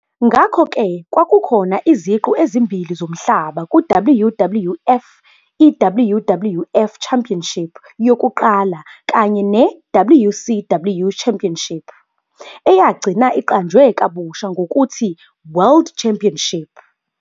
Ngakho-ke, kwakukhona iziqu ezimbili zomhlaba ku-WWF- i-WWF Championship yokuqala kanye ne-WCW Championship, eyagcina iqanjwe kabusha ngokuthi "World Championship".